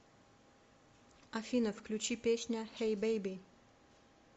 афина включи песня хэй бэйби